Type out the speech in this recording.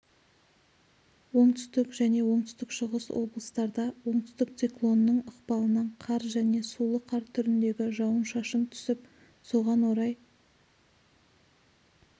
оңтүстік және оңтүстік-шығыс облыстарда оңтүстік циклонның ықпалынан қар және сулы қар түріндегі жауын-шашын түсіп соған орай